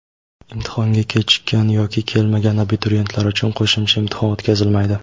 Imtihonga kechikkan yoki kelmagan abituriyentlar uchun qo‘shimcha imtihon o‘tkazilmaydi.